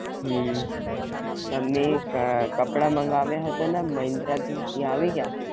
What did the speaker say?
હમ તમને ક કપડાં મંગાવ્યા હતા ને આ મહિન્દ્રા થી એ આવી ગ્યાં?